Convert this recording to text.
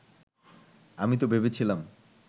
আমি তো ভেবেছিলাম